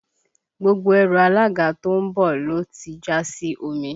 Gbogbo ẹrù alága tó ń bọ̀ ló ti jà sí omi